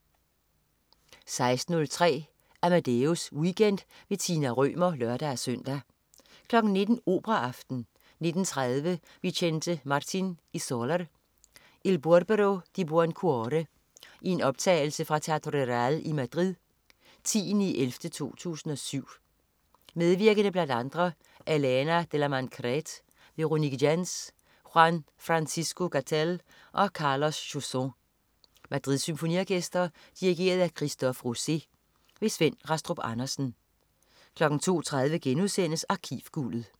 16.03 Amadeus Weekend. Tina Rømer (lør-søn) 19.00 Operaaften. 19.30 Vicente Martín y soler: Il Burbero di buon cuore. I en optagelse fra Teatro Real i Madrid, 10.11.2007. Medvirkende bl.a. Elena de la Merced, Véronique Gens, Juan francisco Gatell og Carlos Chausson. Madrids Symfoniorkester. Dirigent: Christophe Rousset. Svend Rastrup Andersen 02.30 Arkivguldet*